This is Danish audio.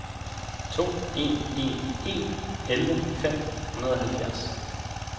to en en en elleve fem hundrede og halvfjerds